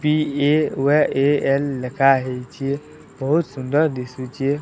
P A ୱେ A L ଲେଖାହେଇଚେ। ବୋହୁତ୍ ସୁନ୍ଦର ଦିଶୁଚେ।